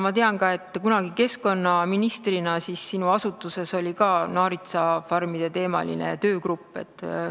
Ma tean ka, et kunagi, kui sa olid keskkonnaminister, siis sinu asutuses oli naaritsafarmide teemaline töögrupp.